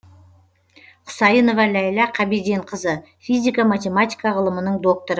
құсайынова ләйла қабиденқызы физика математика ғылымының докторы